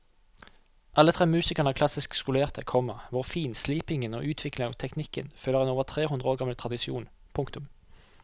Alle tre musikerne er klassisk skolerte, komma hvor finslipingen og utviklingen av teknikken følger en over tre hundre år gammel tradisjon. punktum